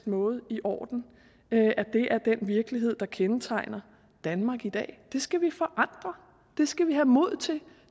måde i orden at det er den virkelighed der kendetegner danmark i dag det skal vi forandre det skal vi have mod til